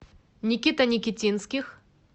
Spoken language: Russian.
никита никитинских